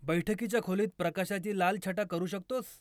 बैठकीच्या खोलीत प्रकाशाची लाल छटा करू शकतोस?